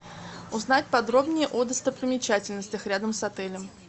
узнать подробнее о достопримечательностях рядом с отелем